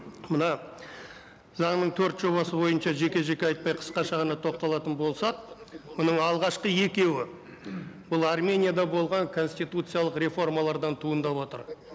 мына заңның төрт жобасы бойынша жеке жеке айтпай қысқаша ғана тоқталатын болсақ бұның алғашқы екеуі бұл арменияда болған конституциялық реформалардан туындап отыр